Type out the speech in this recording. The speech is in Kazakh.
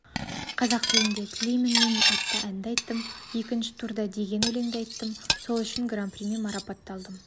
қазақ тілінде тілеймін мен атты әнді айттым екінші турда деген өлеңді айттым сол үшін гран-примен марапатталдым